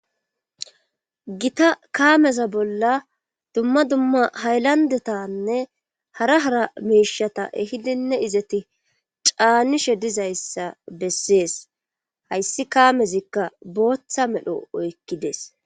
Gita kaameza bolla dumma dumma haylandetanne hara hara meishata ehidinne izati caanishe dizayssa bessees hayssi kaamezikka booththa medho oykkides